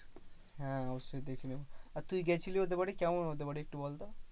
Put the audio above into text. হ্যাঁ অবশ্যই দেখে নেবো। আর তুই গেছিলি ওদের বাড়ি? কেমন ওদের বাড়ি একটু বলতো?